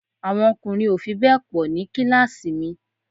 Àwọn ọkùnrin ò fi bẹ́ẹ̀ pọ̀ ní kíláàsì mi